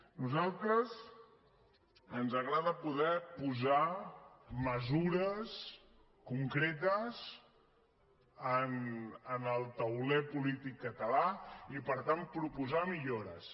a nosaltres ens agrada poder posar mesures concretes en el tauler polític català i per tant proposar millores